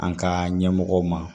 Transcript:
An ka ɲɛmɔgɔw ma